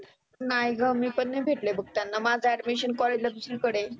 नाय ग मी पण नाही भेटले बघ त्यांना माझ admission college ला दुसरी कडे आहे.